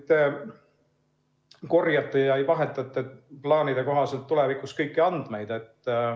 Te korjate ja vahetate plaanide kohaselt tulevikus kõiki andmeid.